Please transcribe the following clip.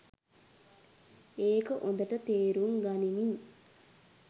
ඒක හොඳට තේරුම් ගනිමින්